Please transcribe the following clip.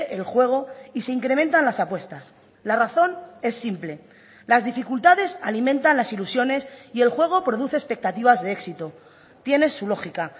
el juego y se incrementan las apuestas la razón es simple las dificultades alimentan las ilusiones y el juego produce expectativas de éxito tiene su lógica